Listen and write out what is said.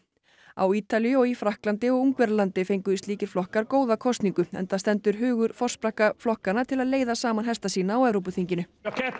á Ítalíu og í Frakklandi og Ungverjalandi fengu slíkir flokkar góða kosningu enda stendur hugur forsprakka flokkanna til að leiða saman hesta sína á Evrópuþinginu